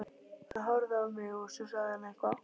Hann horfði á mig og svo sagði hann eitthvað.